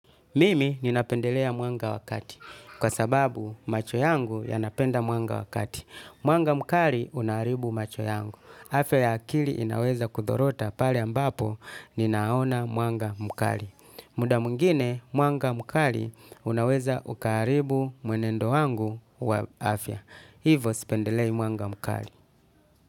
Mimi ninapendelea mwanga wa kati kwa sababu macho yangu yanapenda mwanga wa kati. Mwanga mkali unaharibu macho yangu. Afya ya akili inaweza kuzorota pale ambapo ninaona mwanga mkali. Muda mwingine mwanga mkali unaweza ukaharibu mwenendo wangu wa afya. Hivo sipendelei mwanga mkali.